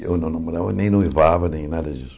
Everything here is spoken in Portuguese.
Eu não namorava nem noivava, nem nada disso.